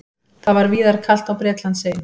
Það var víðar kalt á Bretlandseyjum